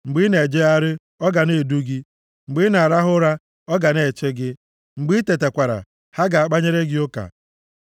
Mgbe ị na-ejegharị, ọ ga na-edu gị; mgbe ị na-arahụ ụra, ọ ga na-eche gị. Mgbe i tetakwara, ha ga-akpanyere gị ụka.